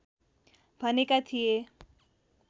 भनेका थिए